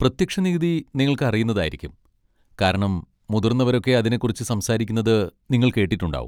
പ്രത്യക്ഷ നികുതി നിങ്ങൾക്ക് അറിയുന്നതായിരിക്കും, കാരണം മുതിർന്നവരൊക്കെ അതിനെക്കുറിച്ച് സംസാരിക്കുന്നത് നിങ്ങൾ കേട്ടിട്ടുണ്ടാവും.